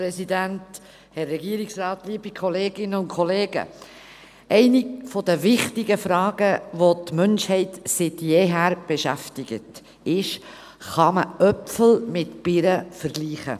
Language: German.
Eine der wichtigen Fragen, die die Menschheit seit jeher beschäftigt, lautet: Kann man Äpfel mit Birnen vergleichen?